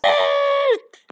Örn!